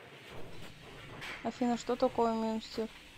афина что такое мюнстер